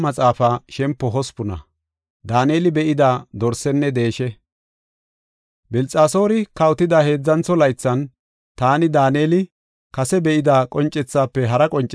Bilxasoori kawotida heedzantho laythan, taani, Daaneli, kase be7ida qoncethaafe hara qoncethi be7as.